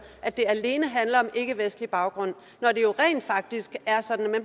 at det alene handler om ikkevestlig baggrund når det jo rent faktisk er sådan at